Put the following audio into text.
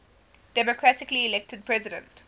democratically elected president